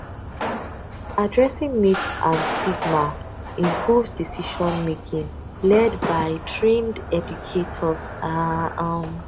addressing myths and stigma improves decisionmaking led by trained educators ah um